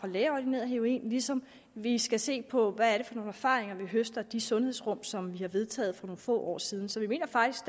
lægeordineret heroin ligesom vi skal se på hvad det er for nogle erfaringer vi høster af de sundhedsrum som vi har vedtaget for nogle få år siden så vi mener faktisk